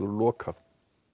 lokað